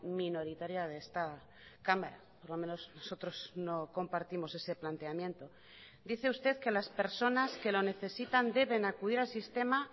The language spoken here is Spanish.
minoritaria de esta cámara por lo menos nosotros no compartimos ese planteamiento dice usted que las personas que lo necesitan deben acudir al sistema